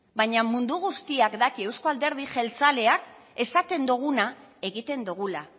baina mundu guztiak daki euzko alderdi jeltzaleak esaten duguna egiten dugula